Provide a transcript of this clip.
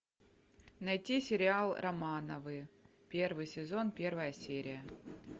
найти сериал романовы первый сезон первая серия